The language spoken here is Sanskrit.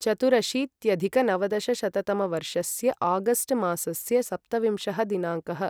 चतुरशीत्यधिकनवदशशततमवर्षस्य आगस्ट् मासस्य सप्तविंशः दिनाङ्कः